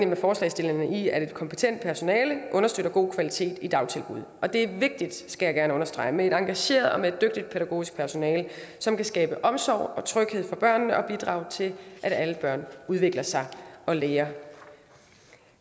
med forslagsstillerne i at et kompetent personale understøtter god kvalitet i dagtilbud og det er vigtigt skal jeg gerne understrege med et engageret og dygtigt pædagogisk personale som kan skabe omsorg og tryghed for børnene og bidrage til at alle børn udvikler sig og lærer